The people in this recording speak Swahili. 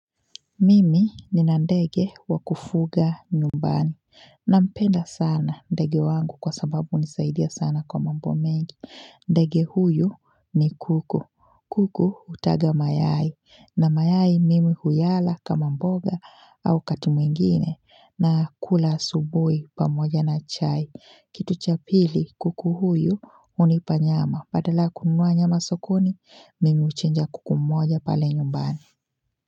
Mimi ni nandege wa kufuga nyumbani. Na mpenda sana ndege wangu kwa sababu nisaidia sana kwa mambo mengi. Ndege huyu ni kuku. Kuku hutaga mayai. Na mayai mimi huyala kama mboga au wakati ingine. Na kula asubui pamoja na chai. Kitu cha pili kuku huyu unipanyama. Badala kununuwa nyama sokoni, mimi uchinja kuku mmoja pale nyumbani.